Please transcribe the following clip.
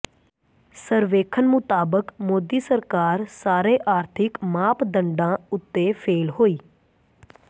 ਸਰਵੇਖਣ ਮੁਤਾਬਕ ਮੋਦੀ ਸਰਕਾਰ ਸਾਰੇ ਆਰਥਿਕ ਮਾਪਦੰਡਾਂ ਉੱਤੇ ਫ਼ੇਲ੍ਹ ਹੋਈ